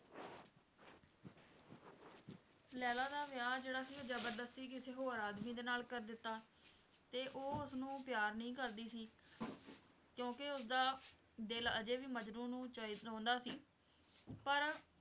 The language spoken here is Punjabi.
ਲੈਲਾ ਦਾ ਵਿਆਹ ਜਿਹੜਾ ਸੀ ਜ਼ਬਰਦਸਤੀ ਕਿਸੇ ਹੋਰ ਆਦਮੀ ਦੇ ਨਾਲ ਕਰ ਦਿੱਤਾ ਤੇ ਉਹ ਉਸਨੂੰ ਪਿਆਰ ਨਹੀਂ ਕਰਦੀ ਸੀ ਕਿਉਂਕਿ ਉਸਦਾ ਦਿਲ ਵੀ ਹਜੇ ਵੀ ਮਜਨੂੰ ਨੂੰ ਚ~ ਚਾਹੁੰਦਾ ਸੀ ਪਰ,